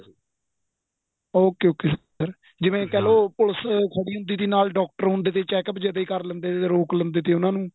okay okay sir ਜਿਵੇਂ ਕਹਿਲੋ police ਖੜੀ ਹੁੰਦੀ ਤੀ ਨਾਲ doctor ਹੁੰਦੇ ਤੇ checkup ਜਦੇਂ ਕਰ ਲੈਂਦੇ ਤੇ ਰੋਕ ਲੈਂਦੇ ਤੇ ਉਹਨਾ ਨੂੰ